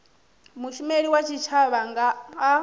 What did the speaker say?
mushumeli wa tshitshavha a nga